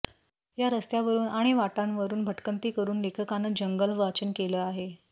या रस्त्यावरून आणि वाटांवरून भटकंती करून लेखकानं जंगल वाचन केलं आहे